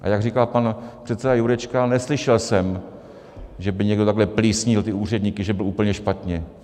A jak říkal pan předseda Jurečka, neslyšel jsem, že by někdo takhle plísnil ty úředníky, že byl úplně špatně.